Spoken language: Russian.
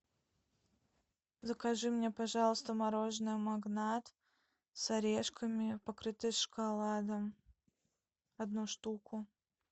закажи мне пожалуйста мороженое магнат с орешками покрытое шоколадом одну штуку